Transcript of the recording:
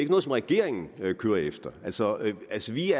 noget som regeringen kører efter altså altså vi